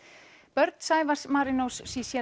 börn Sævars Marínó